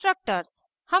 destructors destructors